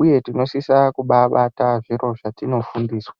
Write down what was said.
uye tinosisa kubabata zviro zvatino fundiswa .